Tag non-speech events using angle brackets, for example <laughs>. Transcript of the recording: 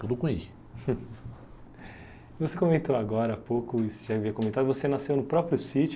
Tudo com i. <laughs> Você comentou agora há pouco, já havia comentado, você nasceu no próprio sítio.